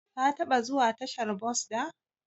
Ka taba zuwa tashar bos da?